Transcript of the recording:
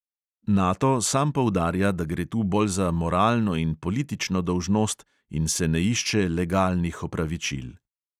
Nato sam poudarja, da gre tu bolj za moralno in politično dolžnost in se ne išče legalnih opravičil.